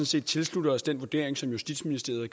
set tilslutter os den vurdering som justitsministeren er